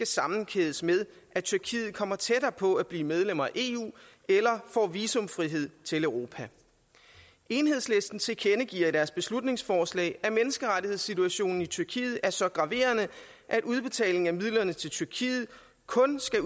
sammenkædes med at tyrkiet kommer tættere på at blive medlem af eu eller får visumfrihed til europa enhedslisten tilkendegiver i deres beslutningsforslag at menneskerettighedssituationen i tyrkiet er så graverende at udbetaling af midlerne til tyrkiet kun skal